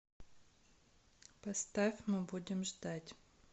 поставь мы будем ждать